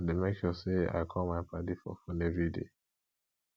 i dey make sure sey i call my paddy for fone everyday